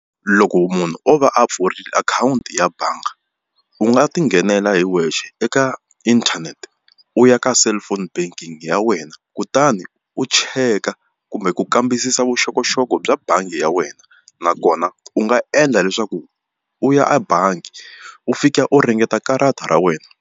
Loko munhu o va a pfurile akhawunti ya bangi u nga ti nghenela hi wexe eka inthanete u ya ka cellphone banking ya wena kutani u cheka kumbe ku kambisisa vuxokoxoko bya bangi ya wena nakona u nga endla leswaku u ya ebangi u fika u ringeta karata ra wena.